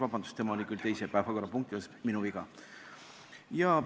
Vabandust, tema oli küll kutsutud teise päevakorrapunkti asjus, minu viga.